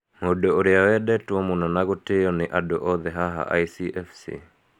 Mũndũ ũrĩa wendetwo mũno na gũtĩo nĩ andũ othe haha lcfc.